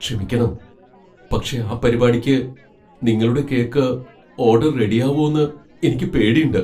ക്ഷമിക്കണം, പക്ഷേ ആ പരിപാടിക്ക് നിങ്ങളുടെ കേക്ക് ഓഡർ റെഡിയാവോന്ന് എനിക്ക് പേടിണ്ട്.